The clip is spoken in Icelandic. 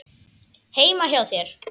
Heima hjá þér?